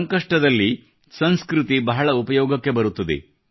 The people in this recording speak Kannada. ಸಂಕಷ್ಟದಲ್ಲಿ ಸಂಸ್ಕೃತಿ ಬಹಳ ಉಪಯೋಗಕ್ಕೆ ಬರುತ್ತದೆ